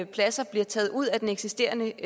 pladser bliver taget ud af den eksisterende